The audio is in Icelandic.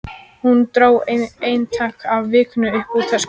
Hún dró eintak af Vikunni upp úr töskunni sinni.